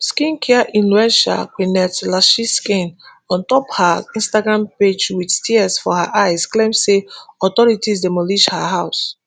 skincare inluencer quennethlashiskin ontop her instagram pagewit tears for her eyes claim say authorities demolish her house